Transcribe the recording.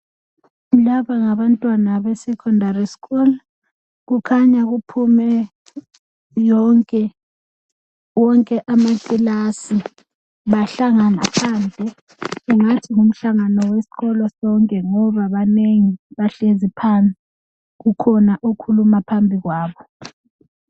Laba ngabantwana be"Secondary school "kukhanya kuphume yonke wonke amakilasi bahlangana phandle engathi ngumhlangano wesikolo sonke ngoba banengi bahlezi phansi kukhona okhuluma phambi kwabo.